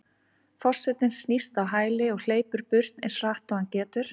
Forsetinn snýst á hæli og hleypur burt eins hratt og hann getur.